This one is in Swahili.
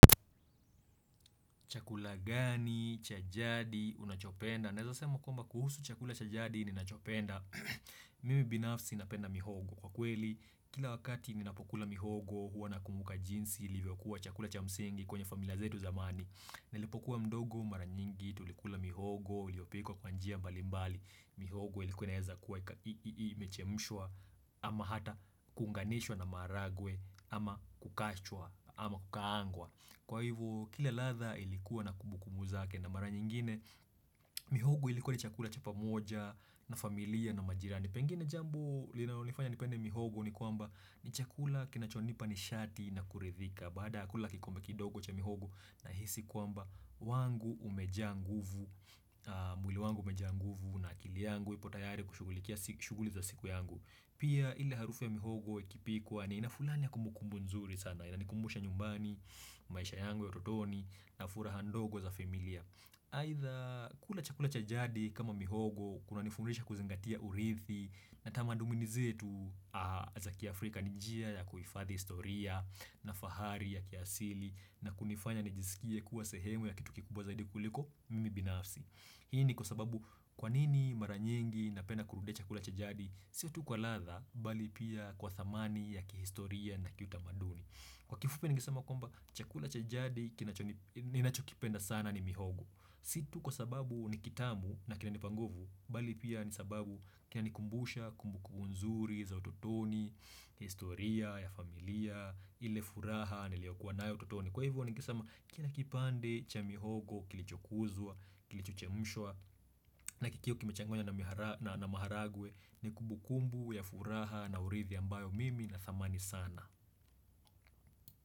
Chakula gani cha jadi? Unachopenda? Naweza sema kwamba kuhusu chakula cha jadi ninachopenda Mimi binafsi napenda mihogo kwa kweli. Kila wakati ninapokula mihogo huwa nakumbuka jinsi ilivyokuwa chakula cha msingi kwenye familia zetu zamani. Nilipokuwa mdogo mara nyingi tulikula mihogo uliopikwa kwa njia mbali mbali. Mihogo ilikuwa inaweza kuwa ii ii imechemshwa ama hata kuunganishwa na maharagwe ama kukachwa ama kukaangwa. Kwa hivyo, kila ladha ilikuwa na kumbu kumbu zake na mara nyingine mihogo ilikuwa ni chakula cha pamoja na familia na majirani. Pengine jambo linalonifanya nipende mihogo ni kwamba ni chakula kinachonipa nishati na kuridhika. Baada kula kikombe kidogo cha mihogo nahisi kwamba wangu umejaa nguvu, mwili wangu umejaa nguvu na akili yangu ipo tayari kushugulikia shughuli za siku yangu. Pia ile harufu ya mihogo ikipikuwa nina fulani ya kumbu kumbu nzuri sana. Inanikumbusha nyumbani, maisha yangu ya totoni na furaha ndogo za familia Aidha kula chakula cha jadi kama mihogo kuna nifurisha kuzingatia uridhi na tamadumini zetu za kiafrika ni njia ya kuhifadhi historia na fahari ya kiasili na kunifanya nijisikie kuwa sehemu ya kitu kikubwa zaidi kuliko mimi binafsi. Hii ni kwa sababu kwanini mara nyingi napenda kurudia chakula cha jadi Si tu kwa ladha, bali pia kwa dhamani ya kihistoria na kiutamaduni. Kwa kifupi ningesama kwamba chakula cha jadi, kinacho ninachokipenda sana ni mihogo. Si tu kwa sababu ni kitamu na kinanipa nguvu, bali pia ni sababu kinanikumbusha kumbu kumbu nzuri za utotoni historia ya familia, ile furaha niliyokuwa nayo utotoni. Kwa hivyo ningesema kila kipande cha mihogo kilichokuzwa, kilicho chemshwa na kikiwa kimechanganywa na maharagwe ni kumbu kumbu ya furaha na uridhi ambayo mimi nadhamani sana.